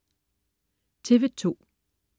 TV2: